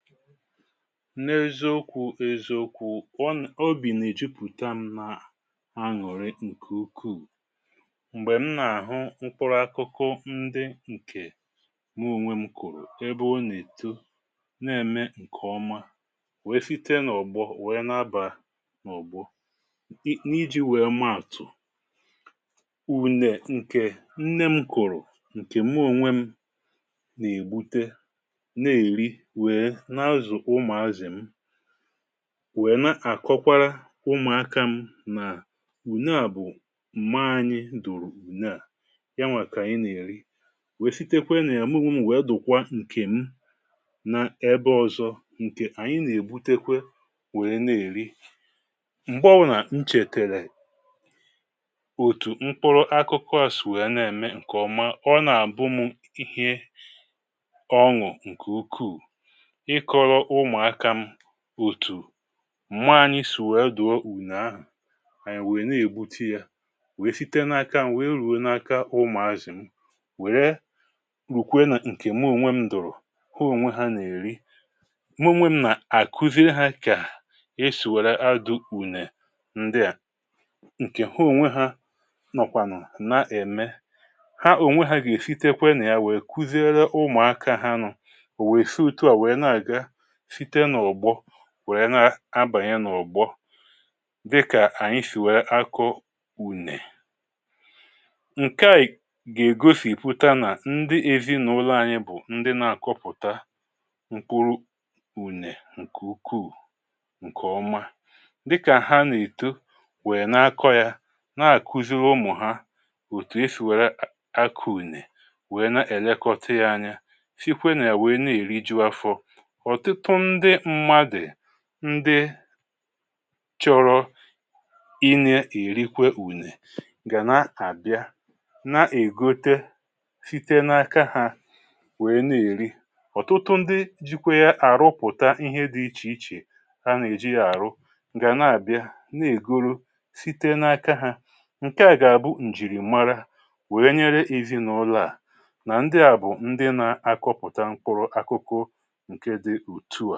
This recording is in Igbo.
Ṅ’eziokwu̇ ṅ’eziokwu̇ o bì nà èjupụ̀ta m na à aṅụrị ǹkè ukwuù, m̀gbè m nà-àhụ mkpụrụ akụkụ ndị ǹkè me ònwè m kụ̀rụ̀, ebe ọ nà-èto, nà-ème ǹkè ọma, wèe fite n’ògbọ wèe n’aba n’ògbọ. n’iji wèe maàtụ̀, ùnè ǹkè nne m kụ̀rụ̀ ǹkè m onwė m nà-ègbute na-èri wèè n azụ ụmụazịị’m, nwèna àkọkwara ụmụ̀akȧ m nà wùne à bụ̀ m̀ma anyị̇ dò̀rù ǹneà, ya nwà kà ànyị nà-èri, wèe sitekwe nà àmụ ṁmụ̇ nwèe dòkwa ǹkè m na ebe ọzọ̇, ǹkè ànyị nà-ègbutekwe wèe na-èri. m̀gbe ọbụrụ nà nchètèrè òtù mkpụrụ akụkọàsì wèe na-ème ǹkèọma, ọ nà-àbụ m ihe ọṅụ̀ ǹkè ukwuù Ịkọrọ ụmụaka’m òtù new yorokwu anyị soò adụ̀o ùnààhụ̀ anyị wee nà-ègbute ya, wee site n’aka wee ruo n’aka ụmụ̀azị̀ m, wère rùkwe nà ǹkè mụọ̀nwe m dụ̀rụ̀ hụ ònwe ha nà-èri. mụọ̀nwe m nà-àkuziere ha kà esì wère na adụ̀ ùnè ǹdị à ǹkè hụ ònwe ha nọkwanụ nà-ème, ha ònwe ha gà-èsitekwe nà ya wee kuziere ụmụ̀akȧ ha nọ̀, ò wèe si ọ̀tụ a wèe na-àga sịte na ụgbọ wèrè na-abànye n’ụ̀gbọ, dịkà ànyị sì wèrè akọ ùnè. Ṅke à ì gà-ègosìpụta nà ndị ezi n’ụlọ̇ anyị bụ̀ ndị nȧ-àkọpụ̀ta mkpụrụ ùnè ǹkè ukwuù ǹkè ọma, dịkà ha nà-èto wèe nà-akọ yȧ, nà-àkụziri ụmụ̀ ha òtù e sì wère akọ̇ ùnè, wèe na-èlekọta yȧ anya, sị kwe na ya na erịgụ afọ. ọ̀tụtụ ndị mmadù ndị chọ̇rọ inė èrikwe ùnè gà na-àbịa na-ègote site n’aka ha nwèe na-èri. ọ̀tụtụ ndị jikwa ya àrụpụ̀ta ihe dị̇ ichè ichè ha nà-èji àrụ gà na-àbịa na-èguru site n’aka ha, ǹke à gà-àbụ ǹjìrì mara wèe nyere èzinụlọà nà ndị à bụ̀ ndị na-akọpụta mkpụrụ akụkụ anụ.